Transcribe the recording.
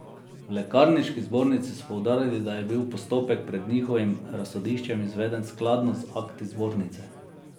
V lekarniški zbornici so poudarili, da je bil postopek pred njihovim razsodiščem izveden skladno z akti zbornice.